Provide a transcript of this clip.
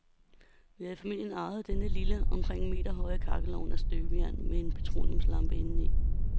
Vi har i familien arvet denne lille, omkring en meter høje kakkelovn af støbejern med en petroleumslampe indeni.